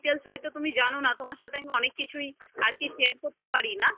আমার details হয়তো তুমি জানো না তোমার সাথে আমি অনেক কিছুই share করতে পারি না